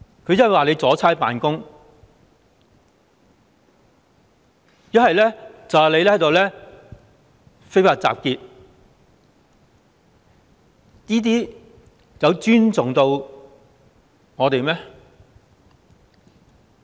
警方不是說阻差辦公，便是說非法集結，有尊重過我們嗎？